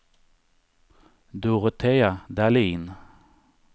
Dorotea Dahlin